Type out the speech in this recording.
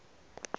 phupu